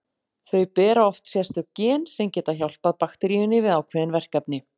Þau bera oft sérstök gen sem geta hjálpað bakteríunni við ákveðin verkefni.